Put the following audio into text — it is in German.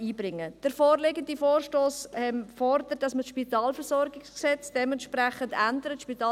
Der vorliegende Vorstoss fordert, dass das Spitalversorgungsgesetz (SpVG) entsprechend geändert wird.